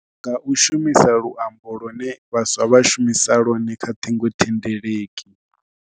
Nga u shumisa luambo lune vhaswa vha shumisa lwone kha ṱhingothendeleki.